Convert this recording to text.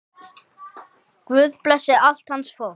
Guð blessi allt hans fólk.